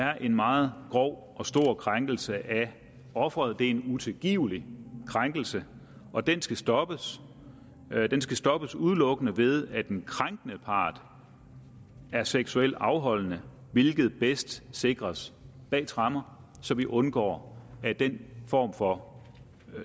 er en meget grov og stor krænkelse af offeret det er en utilgivelig krænkelse og den skal stoppes den skal stoppes udelukkende ved at den krænkende part er seksuelt afholdende hvilket bedst sikres bag tremmer så vi undgår at den form for